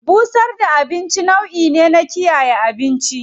Busar da abinci a rana nau'i ne na kiyaye abinci.